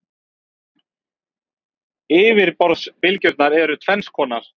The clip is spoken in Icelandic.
Yfirborðsbylgjurnar eru tvenns konar.